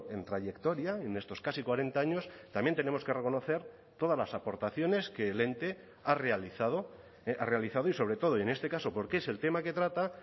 en trayectoria en estos casi cuarenta años también tenemos que reconocer todas las aportaciones que el ente ha realizado ha realizado y sobre todo y en este caso porque es el tema que trata